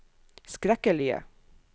skrekkelige